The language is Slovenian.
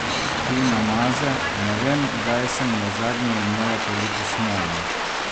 Tina Maze: "Ne vem, kdaj sem nazadnje imela toliko smole.